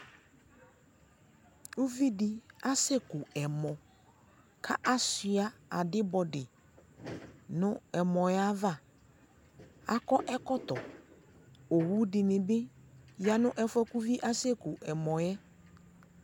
uvi di asɛ ku ɛmɔ ko asua adibodi no ɛmɔ yɛ ava, akɔ ɛkɔtɔ owu di ni bi ya no ɛfuɛ ko uvie asɛ ku ɛmɔɛ